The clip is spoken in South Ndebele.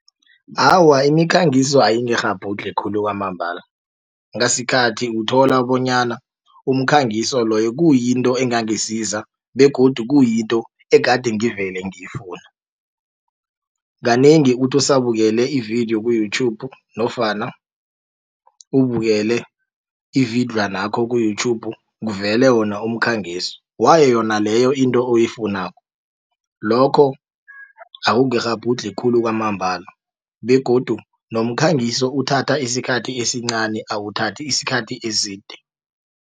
Awa imikhangiso ayingikghabhudlhi khulu kwamambala ngasikhathi uthola bonyana umkhangiso loyo kuyinto engangisiza begodu kuyinto egade ngivele ngiyifuna. Kanengi uthi usabukele ividiyo ku-Youtube nofana ubukele ividlwanakho ku-Youtube kuvele wona umkhangiso wayo yona leyo into oyifunako lokho akungikghabhudlhi khulu kwamambala begodu nomkhangiso uthatha isikhathi esincani awuthathi isikhathi eside.